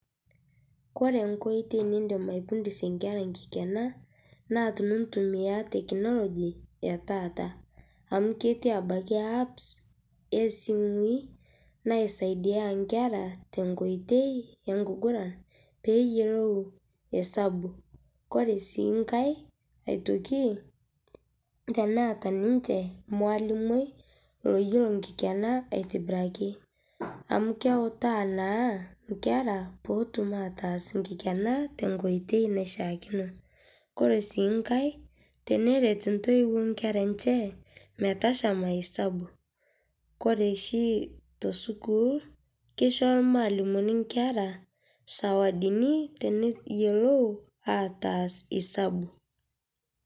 Kore nkoitei nidiim aifundusie nkerra nkikenaa naa tunutumia teknoloji etaata, amu ketii abakii apps e simuii naisaidia nkerra te nkoitei enkuguraan pee iyeloou esabu. Kore sii nkaai aitokii teneeta ninchee mwalimui loiyeloo nkikenaa aitibiraki, amu keeutai na nkerra poo otuum ataas nkikenaa te nkoitoi naishaakino. Kore sii nkaai tenereet ntoiwuo nkerra enchee meitashaam esabu. Kore shii to sukuul keishoo mwalimuni nkerra sawadini teneiyeloou ataas esabu.